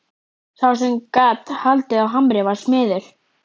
Sá sem gat haldið á hamri var smiður.